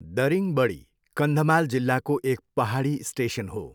दरिङबडी कन्धमाल जिल्लाको एक पहाडी स्टेसन हो।